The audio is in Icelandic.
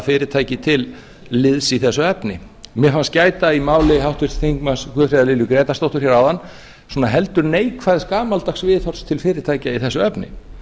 fyrirtæki til liðs í þessu efni mér fannst gæta í máli háttvirts þingmanns guðfríðar lilju grétarsdóttur heldur neikvæðs gamaldags viðhorfs til fyrirtækja í þessu efni